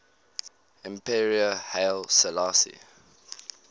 emperor haile selassie